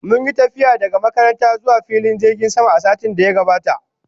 Mun yi tafiya daga makaranta zuwa filin jirgin sama a satin da ya gabata